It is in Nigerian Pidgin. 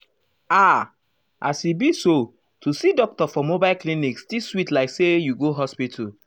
ah as e be so to see doctor for mobile clinic still sweet like say you go hospital.